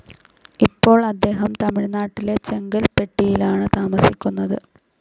ഇപ്പോൾ അദ്ദേഹം തമിഴ്നാട്ടിലെ ചെങ്കൽപ്പെട്ടിലാണ് താമസിക്കുന്നത്.